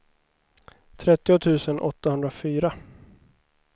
trettio tusen åttahundrafyra